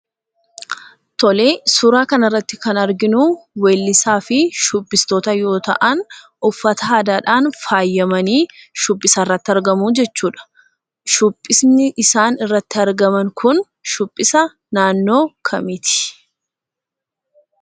Tolee, suuraa kanarratti kan arginuu weellisaa fi shubbistoota yoo ta'an, uffata aadaadhaan faayamanii shubbisa irratti argamu jechuudha. Shubbisni isaan irratti argaman kun shubbisa naannoo kamiiti?